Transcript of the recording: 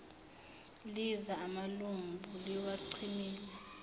liza amalambu liwacimile